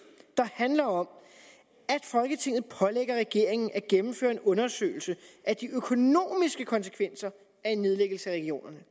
der handler om at folketinget pålægger regeringen at gennemføre en undersøgelse af de økonomiske konsekvenser er en nedlæggelse af regionerne